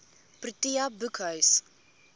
protea boekhuis